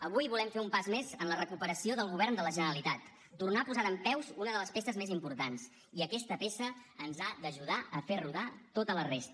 avui volem fer un pas més en la recuperació del govern de la generalitat tornar a posar dempeus una de les peces més importants i aquesta peça ens ha d’ajudar a fer rodar tota la resta